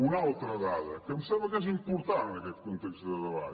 una altra dada que em sembla que és important en aquest context de debat